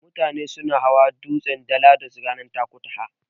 Mutane suna hawa dutsen Dala duk ranar Takutaha.